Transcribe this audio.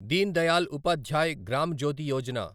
Deen Dayal Upadhyay Gram Jyoti Yojana